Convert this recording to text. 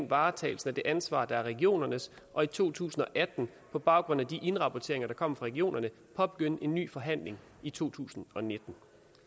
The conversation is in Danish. varetagelse af det ansvar der er regionernes og i to tusind og atten på baggrund af de indrapporteringer der kommer fra regionerne påbegynde en ny forhandling i totusinde og nittende